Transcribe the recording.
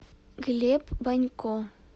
глеб банько